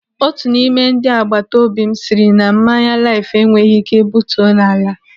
Otu n'ime ndị agbataobi m sịrị na mmanya Laif enweghị ike butuo n'ala.